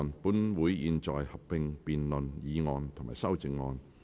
本會現在合併辯論議案及修正案。